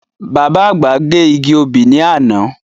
Bàbá àgbà gé igi obì ní àná.